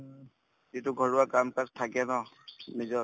যিটো ঘৰুৱা কাম-কাজ থাকে ন নিজৰ